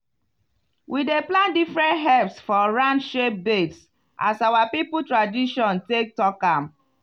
we dey plant different herbs for round shape beds as our people tradition take talk am.